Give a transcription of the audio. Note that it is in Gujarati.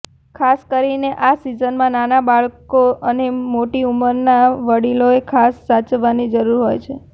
ખાસ કરીને આ સિઝનમાં નાના બાળકો અને મોટી ઉંમરના વડિલોએ ખાસ સાચવવાની જરૂર હોય છે